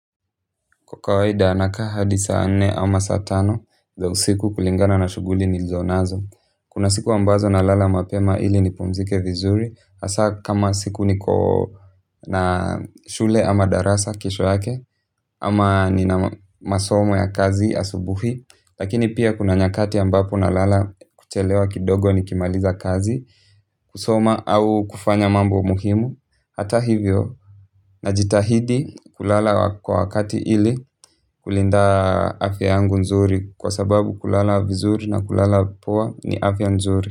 Kwa kawaida nakaa hadi saa nne ama saa tano za usiku kulingana na shughuli nilizonazo. Kuna siku ambazo nalala mapema ili nipumzike vizuri. Hasa kama siku niko na shule ama darasa kesho yake ama nina masomo ya kazi asubuhi. Lakini pia kuna nyakati ambapo nalala kuchelewa kidogo nikimaliza kazi kusoma au kufanya mambo muhimu. Hata hivyo najitahidi kulala kwa wakati ili kulinda afya yangu nzuri kwa sababu kulala vizuri na kulala poa ni afya nzuri.